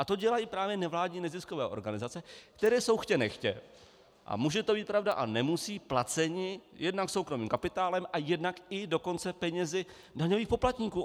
A to dělají právě nevládní neziskové organizace, které jsou chtě nechtě, a může to být pravda a nemusí, placeny jednak soukromým kapitálem a jednak i dokonce penězi daňových poplatníků.